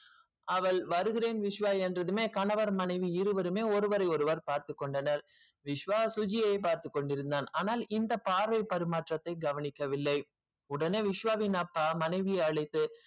அவள் வருகிறேன் விஸ்வ என்றதுமே கணவர் மனைவி இருவருமே ஒருவருகொருவர் பார்த்து கொண்டனர் விஸ்வ சுஜியை பார்த்து கொண்டிருந்தான் ஆனால் இந்த பார்வை பரிமாற்றத்தை பரிமாறி கொள்ள வில்லை ஒடனே விஸ்வ உடைய அப்பா மனைவியே அழைத்து